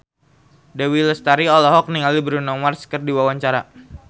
Dewi Lestari olohok ningali Bruno Mars keur diwawancara